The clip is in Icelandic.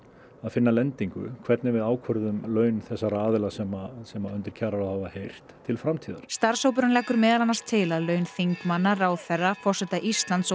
að finna lendingu hvernig við ákvörðun laun þessara aðila sem sem undir kjararáð hafa heyrt til framtíðar starfshópurinn leggur meðal annars til að laun þingmanna ráðherra forseta Íslands